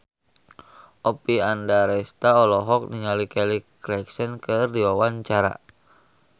Oppie Andaresta olohok ningali Kelly Clarkson keur diwawancara